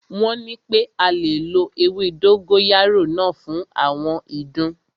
Wọ́n nipé a lè lo ewé dógóyárò náà fún àwọn ìdun.